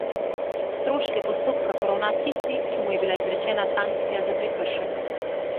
Stroške postopka poravna tisti, ki mu je bila izrečena sankcija za prekršek.